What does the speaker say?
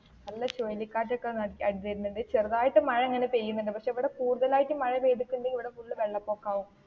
നല്ല ചുഴലികാറ്റൊക്കെ അടിച്ച വരുന്ന് ഉണ്ട്. ചെറുതായിട്ട് മഴങ്ങനെ പെയ്യുന്നുണ്ട്. പക്ഷെ ഇവിടെ കുടുതലായിട്ട് മഴ പെയ്‌തിട്ട് ഉണ്ടേൽ ഇവിടെ full വെള്ളപ്പൊക്കം ആകും.